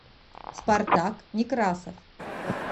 спартак некрасов